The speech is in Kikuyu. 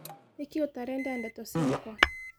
Nĩkĩ ũtarenda ndeto ciakwa.